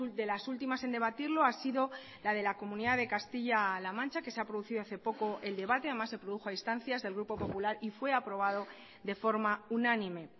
de las últimas en debatirlo ha sido la de la comunidad de castilla la mancha que se ha producido hace poco el debate además se produjo a instancias del grupo popular y fue aprobado de forma unánime